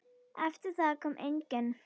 Eftir það kom enginn.